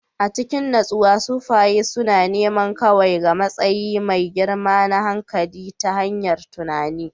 A cikin natsuwa, sufaye suna neman kaiwa ga matsayi mai girma na hankali ta hanyar tunani